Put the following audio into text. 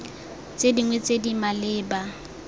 tse dingwe tse di maleba